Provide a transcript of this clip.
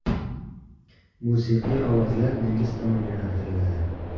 Musiqiy ovozlar dengiz tomon yo‘naltiriladi.